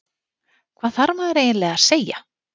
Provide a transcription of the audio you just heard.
Hvað þarf maður eiginlega að segja?